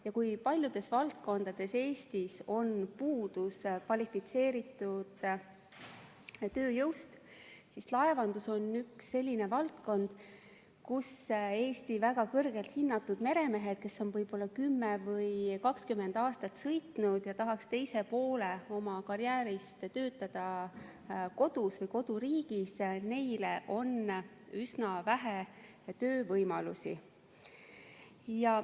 Kui Eestis on paljudes valdkondades kvalifitseeritud tööjõudu puudu, siis laevandus on selline valdkond, kus Eesti väga kõrgelt hinnatud meremeestel, kes on võib-olla 10 või 20 aastat merd sõitnud ja tahaks teise poole oma karjäärist töötada koduriigis, on üsna vähe töövõimalusi.